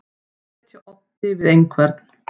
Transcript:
Að etja oddi við einhvern